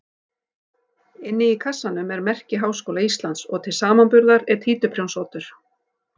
Inni í kassanum er merki Háskóla Íslands og til samanburðar er títuprjónsoddur.